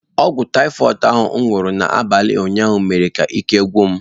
Ọgwụ taịfọid ahụ m nụrụ n’abalị ụnyaahụ mere ka ike gwụ m.